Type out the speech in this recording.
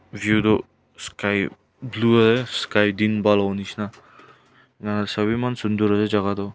view tu sky blue sky din bhal hobo nisna a sabhi eman sundor ase jaga toh.